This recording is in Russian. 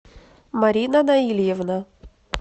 марина наильевна